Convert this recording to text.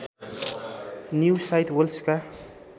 new South वेल्सका